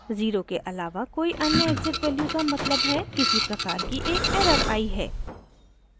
0 के आलावा कोई अन्य एक्सिट वैल्यू का मतलब है किसी प्रकार की एक एरर आई है